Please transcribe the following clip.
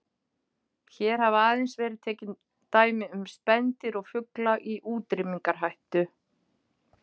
Hér hafa aðeins verið tekin dæmi um spendýr og fugla í útrýmingarhættu.